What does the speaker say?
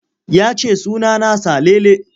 Ya ce suna na Salele.